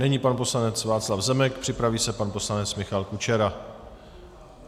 Nyní pan poslanec Václav Zemek, připraví se pan poslanec Michal Kučera.